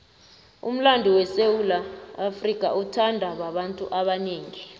umlando wesewula afrika uthandwa babantu abanengi